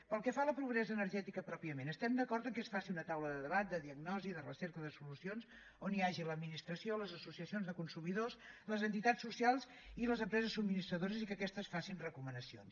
pel que fa a la pobresa energètica pròpiament estem d’acord que es faci una taula de debat de diagnosi de recerca de solucions on hi hagi l’administració les associacions de consumidors les entitats socials i les empreses subministradores i que aquestes facin recomanacions